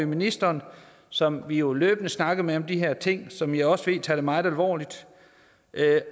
ministeren som vi jo løbende snakker med om de her ting og som jeg også ved tager det meget alvorligt